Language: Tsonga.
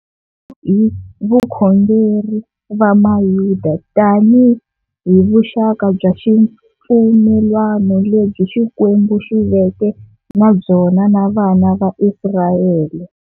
Hi vakhongeri va mayuda, tanihi vuxaka bya xipfumelwano lebyi Xikwembu xiveke nabyona na vana va Israyele.